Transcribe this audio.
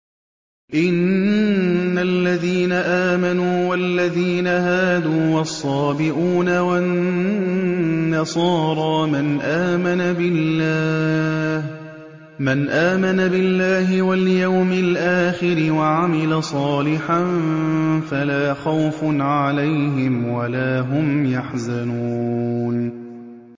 إِنَّ الَّذِينَ آمَنُوا وَالَّذِينَ هَادُوا وَالصَّابِئُونَ وَالنَّصَارَىٰ مَنْ آمَنَ بِاللَّهِ وَالْيَوْمِ الْآخِرِ وَعَمِلَ صَالِحًا فَلَا خَوْفٌ عَلَيْهِمْ وَلَا هُمْ يَحْزَنُونَ